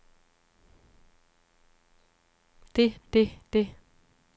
det det det